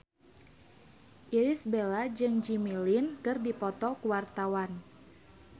Irish Bella jeung Jimmy Lin keur dipoto ku wartawan